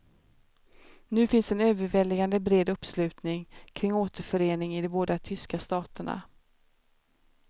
Nu finns en överväldigande bred uppslutning kring återförening i de båda tyska staterna.